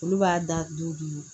Olu b'a da du